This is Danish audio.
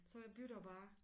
Så jeg bytter bare